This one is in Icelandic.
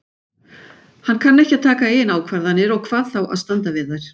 Hann kann ekki að taka eigin ákvarðanir og hvað þá að standa við þær.